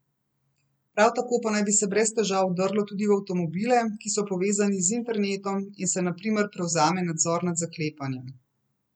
Prav tako pa naj bi se brez težav lahko vdrlo tudi v avtomobile, ki so povezani z internetom, in se na primer prevzame nadzor nad zaklepanjem.